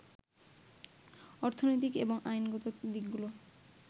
অর্থনৈতিক এবং আইনগত দিকগুলো